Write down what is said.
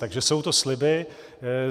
Takže jsou to sliby.